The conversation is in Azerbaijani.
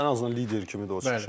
Ən azından lider kimi də.